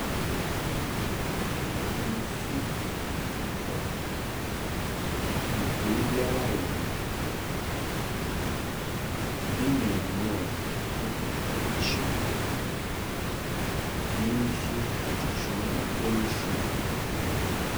Nsu atɔ ma beebiara ayɛ ma. Ebi nam mu aa wɔkita ikyim. Ebinom so kita kyim aa wɔrefrim.